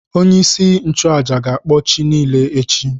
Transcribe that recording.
Onye-isi-nchu-àjà gakpọ chi nile echi.